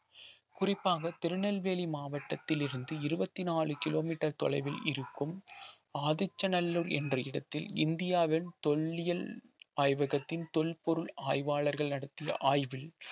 குறிப்பாக திருநெல்வேலி மாவட்டத்திலிருந்து இருபத்தி நாலு கிலோமீட்டர் தொலைவில் இருக்கும் ஆதிச்சநல்லூர் என்ற இடத்தில் இந்தியாவின் தொல்லியல் ஆய்வகத்தின் தொல்பொருள் ஆய்வாளர்கள் நடத்திய ஆய்வில்